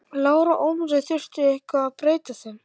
Lára Ómarsdóttir: Þurfti eitthvað að breyta þeim?